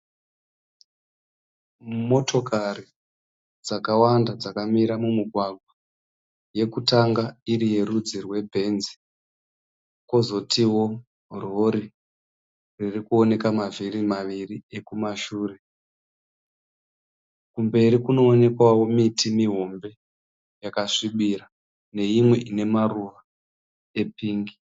Motokari dzakawanda dzakamira mumugwagwa. Yekutanga iri yerudzi rweBenz kozotiwo rori riri kuoneka mavhiri maviri ekumashure. Kumberi kunoonekwawo miti mihombe yekasvibira neimwe ine maruvaka epingi.